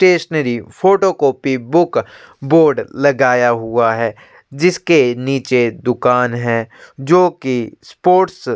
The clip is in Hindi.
stationery photo copy book board लगाया हुआ है जिसके नीचे दूकान है जो की स्पोर्ट्स --